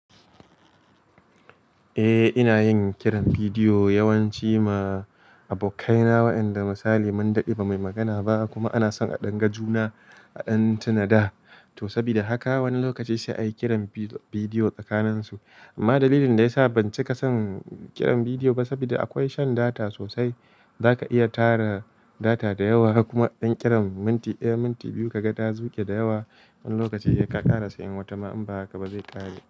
Eh ina yin kiran bidiyo yawanci ma abokaina waɗanda misali mun dade ba muyi magana ba kuma ana son a danga juna a dan tuna da. To saboda haka wani lokaci sai a yi kiran bidiyo tsakanin su. Amma dalilin da ya sa ban cika son kiran bidiyo ba saboda akwai shan data sosai. Zaka iya tara data da yawa kuma idan kiran minti, eh minti biyu ka ga ta zuge da yawa. Wani lokaci ya ka ƙarasa in wata ma in ba haka ba zai ƙare.